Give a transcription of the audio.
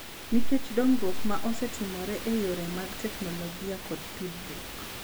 Nikech dongruok ma osetimore e yore mag teknolojia kod tudruok,